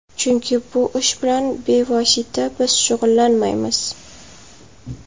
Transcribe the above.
Chunki bu ish bilan bevosita biz shug‘ullanmaymiz.